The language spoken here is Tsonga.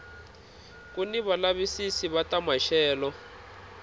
kuni valavisisi va ta maxelo